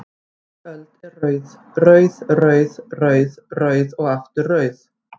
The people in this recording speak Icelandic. Ný öld er rauð, rauð, rauð, rauð, rauð og aftur rauð?